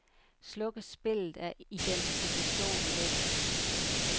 Slukkes spillet, er identifikationen væk.